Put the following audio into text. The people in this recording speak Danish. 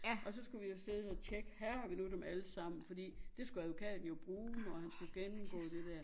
Og så skulle vi afsted og tjekke har vi nu dem allesammen for det skulle advokaten jo bruge og han skulle gennemgå det dér